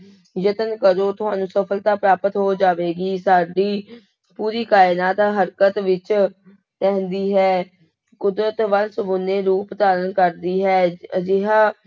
ਯਤਨ ਕਰੋ ਤੁਹਾਨੂੰ ਸਫ਼ਲਤਾ ਪ੍ਰਾਪਤ ਹੋ ਜਾਵੇਗੀ, ਸਾਡੀ ਪੂਰੀ ਕਾਇਨਾਤ ਹਰਕਤ ਵਿੱਚ ਰਹਿੰਦੀ ਹੈ, ਕੁਦਰਤ ਵੰਨ ਸੁਵੰਨੇ ਰੂਪ ਧਾਰਨ ਕਰਦੀ ਹੈ, ਅਜਿਹਾ